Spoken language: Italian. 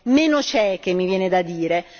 meno cieche mi viene da dire.